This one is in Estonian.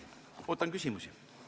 Ootan küsimusi!